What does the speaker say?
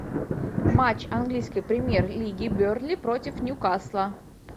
матч английской премьер лиги бернли против ньюкасла